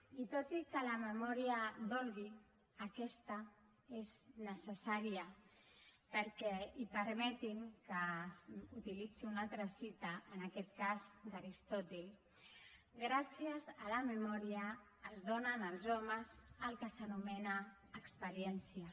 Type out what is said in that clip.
i tot i que la memòria dolgui aquesta és necessària perquè i permetin me que utilitzi una altra cita en aquest cas d’aristòtil gràcies a la memòria es dóna en els homes el que s’anomena experiència